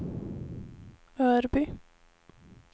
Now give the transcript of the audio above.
Örby